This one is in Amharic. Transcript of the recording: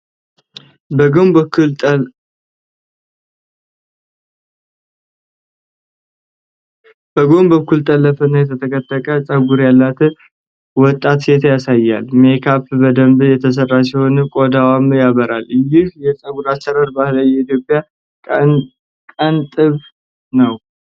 በጎን በኩል ጠለፈና የተጠቀጠቀ (kinky) ፀጉር ያላት ወጣት ሴት ያሳያል። ሜካፕ በደንብ የተሰራ ሲሆን ቆዳዋም ያበራል። ይህ የፀጉር አሠራር ባህላዊ የኢትዮጵያ ቀንጥብ ነው?